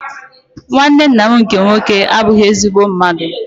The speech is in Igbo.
Nwanne ńnà m nke nwoke abughi ezigbo mmadụ.